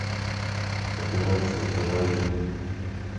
операция феррари